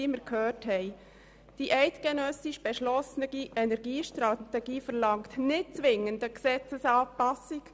Die beschlossene eidgenössische Energiestrategie verlangt nicht zwingend eine Gesetzesanpassung.